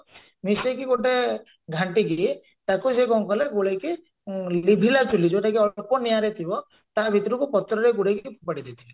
ମିଶେଇକି ଗୋଟେ ଘାଣ୍ଟିକି ତାକୁ ସେ କଣ କଲେ ଗୋଳେଇକି ଲିଭିଲା ଚୁଲି ଯଉଟା କି ଅଳ୍ପ ନିଆଁରେ ଥିବ ତା ଭିତରକୁ ପତ୍ରରେ ଗୁଡେଇକି ଫୋପାଡିଦେଇଥିଲି